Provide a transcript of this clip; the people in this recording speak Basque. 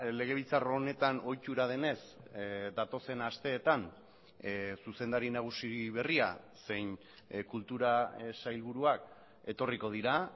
legebiltzar honetan ohitura denez datozen asteetan zuzendari nagusi berria zein kultura sailburuak etorriko dira